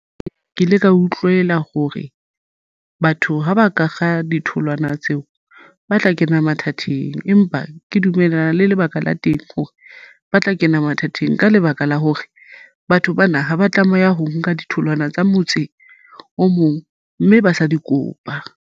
Ee, ke ile ka utlwela hore batho ha ba ka kga ditholwana tseo ba tla kena mathateng, empa ke dumellana le lebaka la teng hore ba tla kena mathateng ka lebaka la hore batho bana ha ba tlameha ho nka ditholwana tsa motse o mong mme ba sa di kopa.